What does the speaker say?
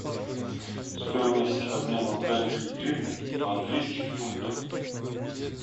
стоимость обмена украинской гривны в английских фунтах